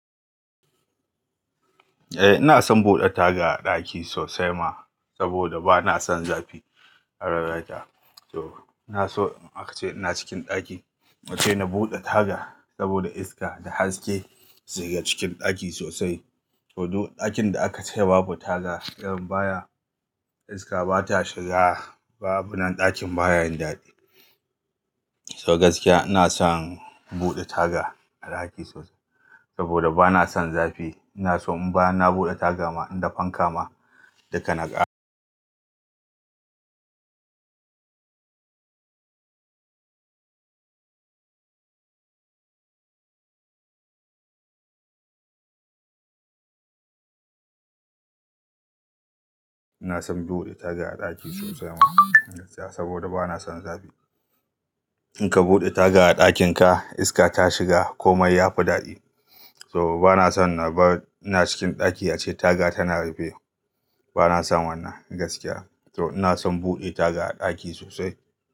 Eh ina son buɗe taga a ɗaki sosai ma saboda bana son zafi a rayuwata. To ina so in aka ce ina cikin ɗaki ace na buɗe taga saboda iska da haske su shiga cikin ɗaki sosai. To duk ɗakin da aka ce babu taga yawan baya iska bata shiga babu nan ɗakin baya yin daɗi. To gaskiya ina son in buɗe taga a ɗaki sosai saboda bana son zafi. Ina so in bayan na buɗe taga ma inda fanka ma duka na ƙara. Ina son buɗe taga a ɗaki sosai ma gaskiya saboda bana son zafi. In ka buɗe taga a ɗakin ka iska ta shiga komai yafi daɗi. To bana son na ba ina cikin ɗaki ace taga tana rufe. Bana son wannan gaskiya. So ina son buɗe taga a ɗaki sosai.